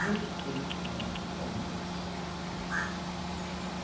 Respeite sua no, sua noiva.